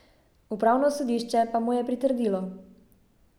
Upravno sodišče pa mu je pritrdilo.